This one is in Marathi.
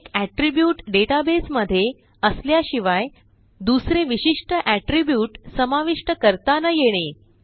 एक एट्रिब्यूट डेटाबेस मध्ये असल्याशिवाय दुसरे विशिष्ट एट्रिब्यूट समाविष्ट करता न येणे